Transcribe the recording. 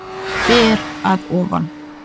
Ber að ofan.